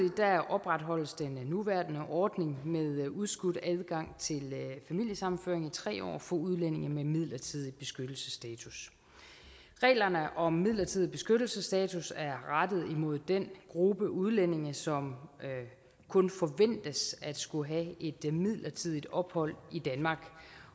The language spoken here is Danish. opretholdes den nuværende ordning med udskudt adgang til familiesammenføring i tre år for udlændinge med midlertidig beskyttelsesstatus reglerne om midlertidig beskyttelsesstatus er rettet imod den gruppe udlændinge som kun forventes at skulle have et midlertidigt ophold i danmark